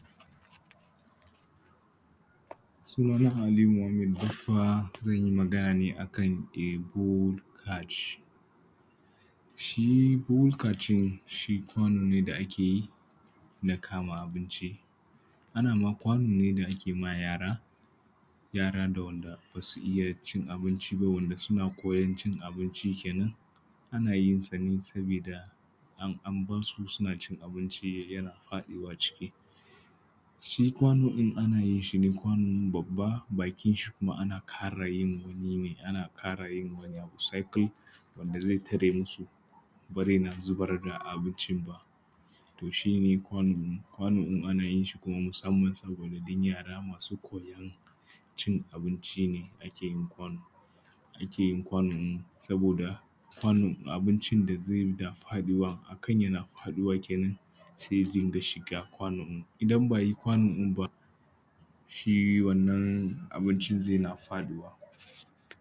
Sunana Aliyu Muhammad baffa zan yi magana ne a kan a kwano ne ake yi na kama abinci ana ma kwano ne da ake ba yara da waɗanda ba su iya cin abinci ba suna koyan cin abinci kenan ana yin sa ne an bar su suna cin abinci da kansu yana paɗawa ciki. Shi kwano din ana yin sa ne kwano babba bakin shi ana kara yi wani abu ana kara yin wani abu cicle wanda bare na zubar da abincin ba wannan kwano ana yin sa ne musamman saboda don yara masu koyan cin abincin ne ake yi kwano. Saboda abinci zai na faduwa akan yana faduwa sai ya dinga shiga kwano. Idan ba a yi kwano ɗin ba shi wannan abinci. Zai na faduwa